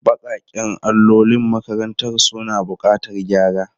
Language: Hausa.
Baƙaƙen allolin makarantar suna buƙatar gyara.